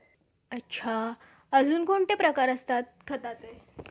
अच्छा. अजून कोणते प्रकार असतात खताचे?